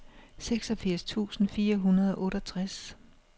seksogfirs tusind fire hundrede og otteogtres